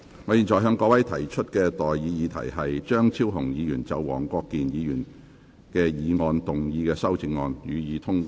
我現在向各位提出的待議議題是：張超雄議員就黃國健議員議案動議的修正案，予以通過。